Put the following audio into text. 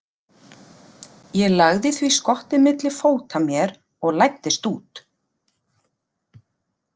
Ég lagði því skottið milli fóta mér og læddist út.